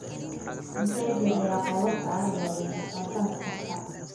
intee jeer ayaa qoobabka arigaaga jartaa sanad kasta